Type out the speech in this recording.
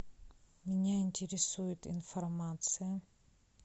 меня интересует информация